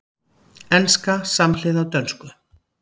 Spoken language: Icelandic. Enska samhliða dönsku